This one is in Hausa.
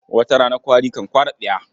Wata rana kwari kan kwara tsiya.